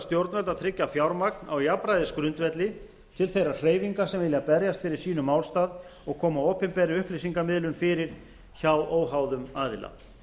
að tryggja fjármagn á jafnræðisgrundvelli til þeirra hreyfinga sem vilja berjast fyrir sínum málstað og koma opinberri upplýsingamiðlun fyrir hjá óháðum aðila